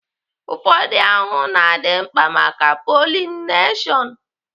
Ụfọdụ ahụhụ na-adị mkpa maka pọlịneshon